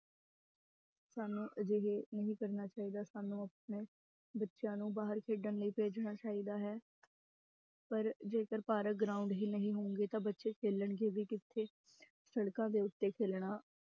ਸਾਨੂੰ ਅਜਿਹੇ ਨਹੀਂ ਕਰਨਾ ਚਾਹੀਦਾ ਸਾਨੂੰ ਆਪਣੇ ਬੱਚਿਆਂ ਨੂੰ ਬਾਹਰ ਖੇਡਣ ਲਈ ਭੇਜਣਾ ਚਾਹੀਦਾ ਹੈ ਪਰ ਜੇਕਰ ਬਾਹਰ ground ਹੀ ਨਹੀਂ ਹੋਣਗੇ ਤਾਂ ਬੱਚੇ ਖੇਲਣਗੇ ਵੀ ਕਿੱਥੇ ਸੜਕਾਂ ਦੇ ਉੱਤੇ ਖੇਲਣਾ